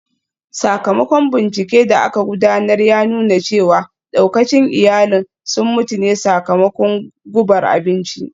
Sakamakon binciken da aka gudanar ya nuna cewa daukacin iyalin sun mutu ne sakamakon gubar abinci